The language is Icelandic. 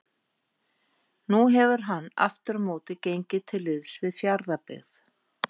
Nú hefur hann aftur á móti gengið til liðs við Fjarðabyggð.